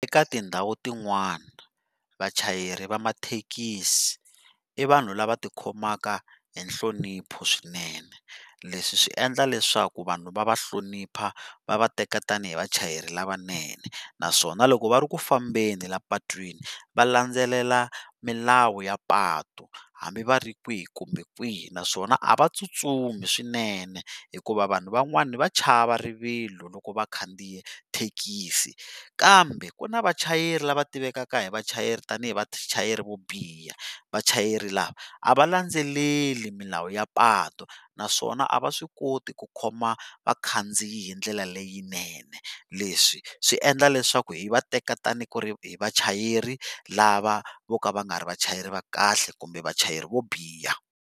Eka tindhawu tin'wana vachayeri va mathekisi i vanhu lava ti khomaka hi nhlonipho swinene leswi swi endla leswaku vanhu va va hlonipha va va teka tanihi vachayeri lavanene naswona loko va ri ku fambeni la patwini va landzelela milawu ya patu hambi va ri kwihi kumbe kwihi naswona a va tsutsumi swinene hikuva vanhu van'wani va chava rivilo loko vakhandziya thekisi kambe ku na vachayeri lava tivekaka hi vachayeri tanihi vachayeri vo biha vachayeri lava a va landzeleli milawu ya patu naswona a va swi koti ku khoma vakhandziyi hi ndlela leyinene leswi swi endla leswaku hi vateka tani ku ri hi vachayeri lava vo ka va nga ri vachayeri va kahle kumbe vachayeri vo biha.